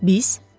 Biz?